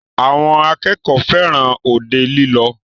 Àwọn akẹ́kọ̀ọ́ fẹràn òde lílọ.